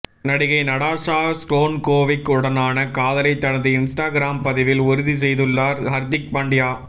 நடிகை Natasha Stankovic உடனான காதலைத் தனது இன்ஸ்டாகிராம் பதிவில் உறுதி செய்துள்ளார் ஹர்திக் பாண்டியா